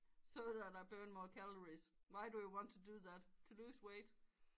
So that i burn more calories why do you want to do that to lose weight